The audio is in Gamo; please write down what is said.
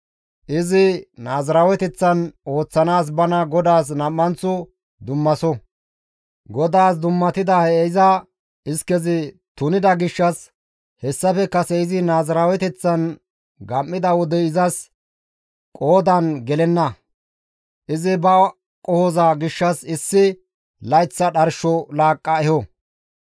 Izi naaziraaweteththan ooththanaas bana GODAAS nam7anththo dummaso; GODAAS dummatida he iza iskezi tunida gishshas hessafe kase izi naaziraaweteththan gam7ida wodey izas qoodan gelenna; izi ba qohoza gishshas issi layththa dharsho laaqqa eho.